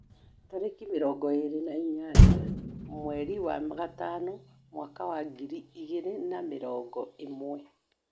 Tarĩki mĩrogo ĩrĩ na ĩnyanya mweri wa gatano mwaka wa ngĩri igĩri na mĩrogo ĩmwe.